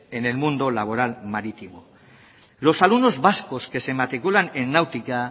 en el mundo laboral marítimo los alumnos vascos que se matriculan en náutica